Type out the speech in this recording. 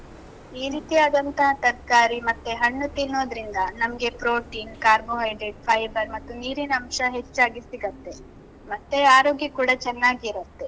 ಈ ರೀತಿಯಾದಂತಹ, ತರ್ಕಾರಿ ಮತ್ತೆ ಹಣ್ಣು ತಿನ್ನೋದ್ರಿಂದ ನಮ್ಗೆ protein, carbohydrate, fiber ಮತ್ತು ನೀರಿನಂಶ ಹೆಚ್ಚಾಗಿ ಸಿಗತ್ತೆ, ಮತ್ತೆ ಆರೋಗ್ಯ ಕೂಡ ಚೆನ್ನಾಗಿರುತ್ತೆ.